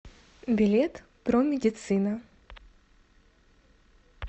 билет промедицина